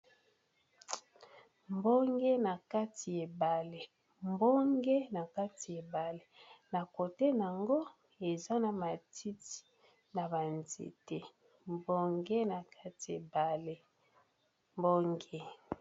Mbonge na kati ebale mbonge na kati ebale na kote nango eza na matiti na ba nzete mbonge na kati ebale mbonge.